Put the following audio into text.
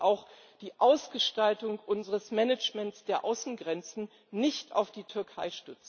Wir dürfen auch die Ausgestaltung unseres Managements der Außengrenzen nicht auf die Türkei